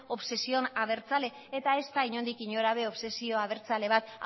obsesión abertzale eta ez da inondik inora ere obsesio abertzale bat